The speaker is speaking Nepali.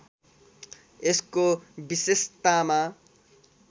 यसको विशेषतामा